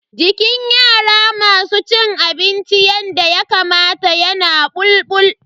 Jikin yara masu cin abinci yanda Yakamata yana bulbul.